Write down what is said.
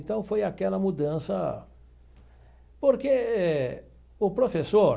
Então, foi aquela mudança, porque o professor